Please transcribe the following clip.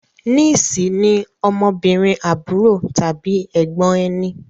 Niece ní ọmọbìnrin àbúrò tàbí ègbón ẹní.